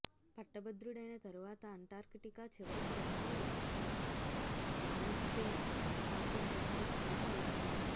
పట్టభద్రుడైన తరువాత అంటార్కిటికా చివరికి Ronald Amundsen పంపిన ఇక్కడ చోటు అవుతుంది